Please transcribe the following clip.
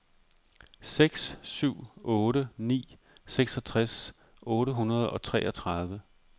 seks syv otte ni seksogtres otte hundrede og treogtredive